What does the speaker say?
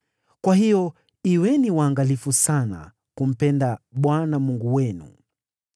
Kwa hiyo kuweni waangalifu sana kumpenda Bwana Mungu wenu.